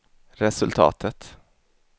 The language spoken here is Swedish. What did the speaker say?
resultatet